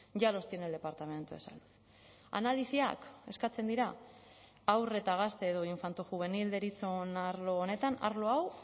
ya los tiene el departamento de salud analisiak eskatzen dira haur eta gazte edo infantojuvenil deritzon arlo honetan arlo hau